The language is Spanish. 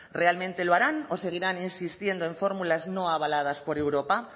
realmente lo harán o seguirán insistiendo en fórmulas no avaladas por europa